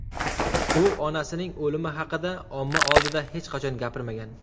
U onasining o‘limi haqida omma oldida hech qachon gapirmagan.